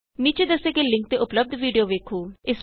ਨੀਚੇ ਦੱਸੇ ਗਏ ਲਿੰਕ ਤੇ ਉਪਲੱਭਦ ਵੀਡੀਊ ਵੇਖੋ